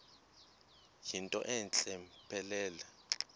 yinto entle mpelele